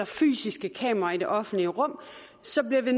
fysiske kameraer i det offentlige rum så bliver vi